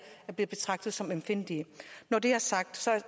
blev betragtet som ømfindtlige når det er sagt